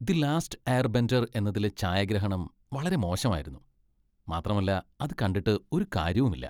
The Last Airbender എന്നതിലെ ഛായാഗ്രഹണം വളരെ മോശമായിരുന്നു , മാത്രമല്ല അത് കണ്ടിട്ട് ഒരു കാര്യവുമില്ല.